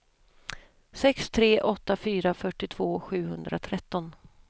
sex tre åtta fyra fyrtiotvå sjuhundratretton